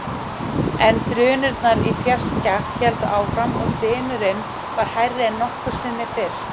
En drunurnar í fjarska héldu áfram og dynurinn var hærri en nokkru sinni fyrr.